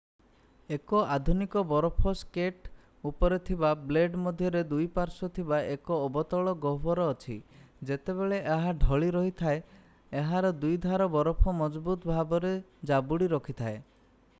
ଏକ ଆଧୁନିକ ବରଫ ସ୍କେଟ୍ ଉପରେ ଥିବା ବ୍ଲେଡ୍ ମଧ୍ୟରେ ଦୁଇ ପ୍ୱାର୍ଶ ଥିବା ଏକ ଅବତଳ ଗହ୍ୱର ଅଛି ଯେତେବେଳେ ଏହା ଢ଼ଳି ରହିଥାଏ ଏହାର ଦୁଇ ଧାର ବରଫ ମଜବୁତ ଭାବରେ ଜାବୁଡି ରଖି ଥାଏ